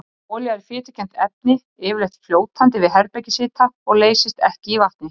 Olía er fitukennt efni, yfirleitt fljótandi við herbergishita og leysist ekki í vatni.